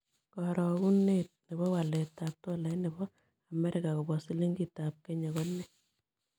Karogunet ne po waletap tolait ne po amerika kobwa silingitap kenya konee